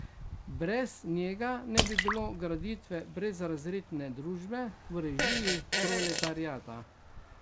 Brez njega ne bi bilo graditve brezrazredne družbe v režiji proletariata.